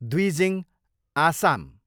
Dwijing, Assam